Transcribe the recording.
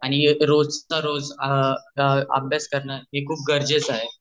आणि हे रोज त रोज हे अ अभ्यास करने हे खुप गरजेच आहे.